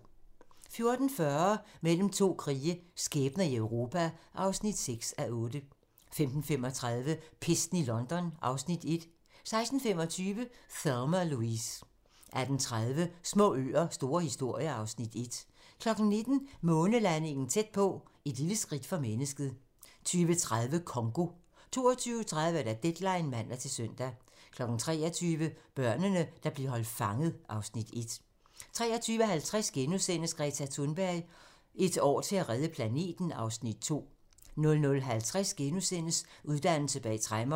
14:40: Mellem to krige - skæbner i Europa (6:8) 15:35: Pesten i London (Afs. 1) 16:25: Thelma & Louise 18:30: Små øer - store historier (Afs. 1) 19:00: Månelandingen tæt på - Et lille skridt for mennesket 20:30: Congo 22:30: Deadline (man-søn) 23:00: Børnene, der blev holdt fanget (Afs. 1) 23:50: Greta Thunberg: Et år til at redde planeten (Afs. 2)* 00:50: Uddannelse bag tremmer *